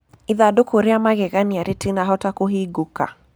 Ĩthandũkũ rĩa mageganĩa rĩtĩnahota kũhĩngũka.